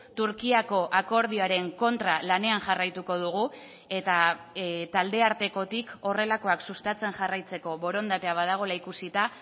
turkiako akordioaren kontra lanean jarraituko dugu eta taldeartekotik horrelakoak sustatzen jarraitzeko borondatea badagoela ikusita